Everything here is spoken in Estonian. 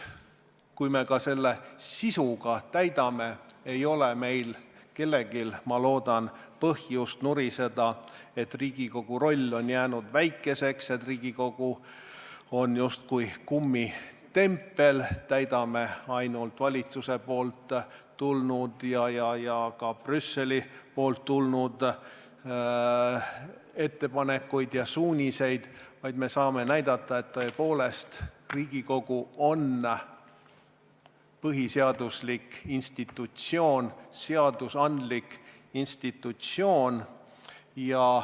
Kui me selle ka sisuga täidame, siis ei ole meil kellelgi, ma loodan, põhjust nuriseda, et Riigikogu roll on jäänud väikeseks, et Riigikogu on justkui kummitempel, täidab ainult valitsusest ja ka Brüsselist tulnud ettepanekuid ja suuniseid, vaid me saame näidata, et Riigikogu on tõepoolest põhiseaduslik institutsioon, seadusandlik institutsioon.